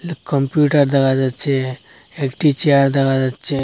Computer দেখা যাচ্ছে একটি চেয়ার দেখা যাচ্ছে।